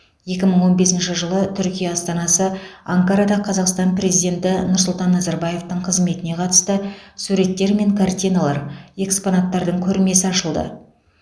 екі мың он бесінші жылы түркия астанасы анкарада қазақстан президенті нұрсұлтан назарбаевтың қызметіне қатысты суреттер мен картиналар экспонаттардың көрмесі ашылды